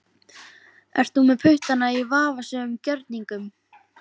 Ert þú með puttana í vafasömum gjörningum?